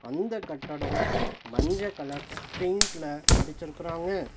அந்த கட்டடோ மஞ்ச கலர் பெயிண்ட்ல அடிச்சிருக்குறாங்க.